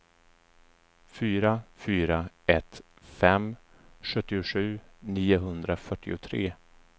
fyra fyra ett fem sjuttiosju niohundrafyrtiotre